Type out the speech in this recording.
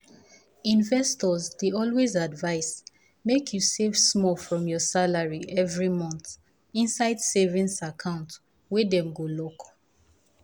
investors dey always advise make you you save small from your salary every month inside savings account wey dem go lock